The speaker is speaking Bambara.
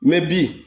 mɛ bi